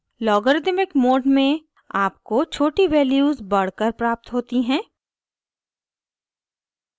logarithmic mode में आपको छोटी values बढ़ कर प्राप्त होती हैं